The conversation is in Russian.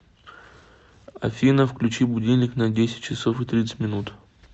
афина включи будильник на десять часов и тридцать минут